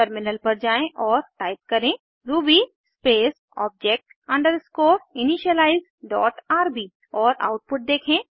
terminal पर जाएँ और टाइप करें ruby space object underscore initialize dot RB और आउटपुट देखें